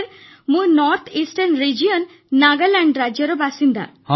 sir ମୁଁ ଉତର ପୂର୍ବାଞ୍ଚଳ ରାଜ୍ୟ ନାଗାଲାଣ୍ଡର ବାସିନ୍ଦା